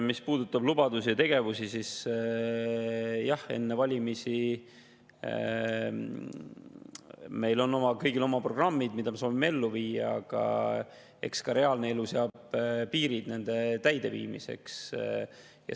Mis puudutab lubadusi ja tegevusi, siis jah, enne valimisi on meil kõigil oma programmid, mida me soovime ellu viia, aga eks reaalne elu seab nende täideviimisele piirid.